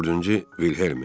Dördüncü Vilhelmi.